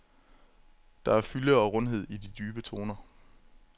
Der er fylde og rundhed i de dybe toner.